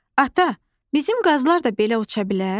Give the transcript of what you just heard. Ata, bizim qazlar da belə uça bilər?